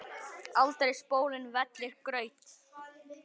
aldrei spóinn vellir graut.